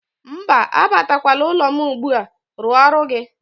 Mba, abatakwala n'ụlọ m ugbu a, rụọ ọrụ gị.